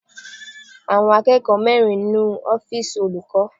Àwọn akẹ́kọ̀ọ́ mẹrin nu ọ́fìsì olùkọ́.